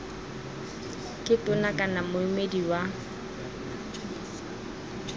ke tona kana moemedi wa